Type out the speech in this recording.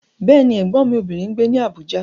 Bẹ́ẹ̀ni, Ẹ̀gbọ́n mi obìnrin ń gbé ní Abuja.